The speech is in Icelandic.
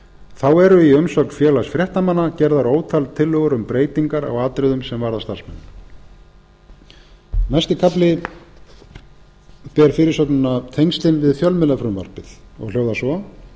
þá eru í umsögn félags fréttamanna gerðar ótal tillögur um breytingar á atriðum sem varða starfsmenn næsti kafli ber fyrirsögnina tengslin við fjölmiðlafrumvarpið og hljóðar svo